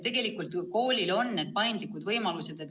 Koolides on paindlik kord.